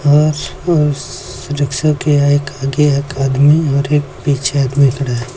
और और रेक्सा के एक आगे एक आदमी और एक पीछे आदमी खड़ा है।